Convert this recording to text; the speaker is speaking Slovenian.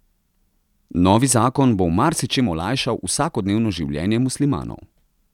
Novi zakon bo v marsičem olajšal vsakodnevno življenje muslimanov.